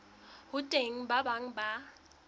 ho teng ba bang ba